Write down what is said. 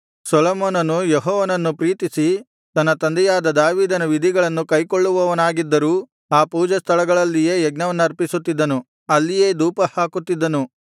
ಸೊಲೊಮೋನನು ಯೆಹೋವನನ್ನು ಪ್ರೀತಿಸಿ ತನ್ನ ತಂದೆಯಾದ ದಾವೀದನ ವಿಧಿಗಳನ್ನು ಕೈಕೊಳ್ಳುವವನಾಗಿದ್ದರೂ ಆ ಪೂಜಾಸ್ಥಳಗಳಲ್ಲಿಯೇ ಯಜ್ಞವನ್ನರ್ಪಿಸುತ್ತಿದ್ದನು ಅಲ್ಲಿಯೇ ಧೂಪಹಾಕುತ್ತಿದ್ದನು